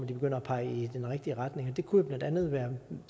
de begynder at pege i den rigtige retning det kunne jo blandt andet være